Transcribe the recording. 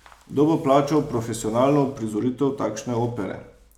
Kdo bo plačal profesionalno uprizoritev takšne opere?